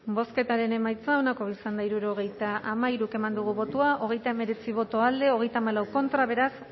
bozketaren emaitza onako izan da hirurogeita hamairu eman dugu bozka hogeita hemeretzi boto alde treinta y cuatro contra beraz